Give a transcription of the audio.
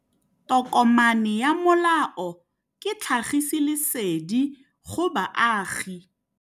Tokomane ya molao ke tlhagisi lesedi go baagi.